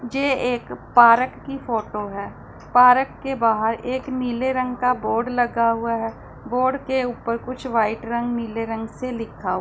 ये एक पारक की फोटो है पारक के बाहर एक नीले रंग का बोर्ड लगा हुआ है बोर्ड के ऊपर कुछ वाइट रंग नीले रंग से लिखा--